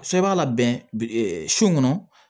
Fɛn b'a labɛn su kɔnɔ